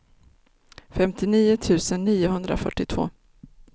femtionio tusen niohundrafyrtiotvå